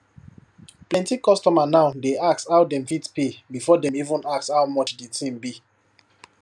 plenty customer now dey ask how dem fit pay before dem even ask how much the thing be